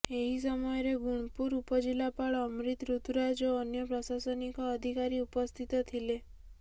ଏହି ସମୟରେ ଗୁଣପୁର ଉପଜିଲ୍ଲାପାଳ ଅମ୍ରିତ ଋତୁରାଜ ଓ ଅନ୍ୟ ପ୍ରଶାସନିକ ଅଧିକାରୀ ଉପସ୍ଥିତ ଥିଲେ